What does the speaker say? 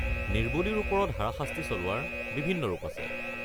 নিৰ্বলীৰ ওপৰত হাৰাশাস্তি চলোৱাৰ বিভিন্ন ৰূপ আছে।